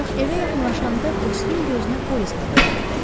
Ancaq evə yaxınlaşanda Bosirin gözünə polis nəfərləri dəydi.